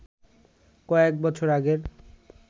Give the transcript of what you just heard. কয়েক বছর আগের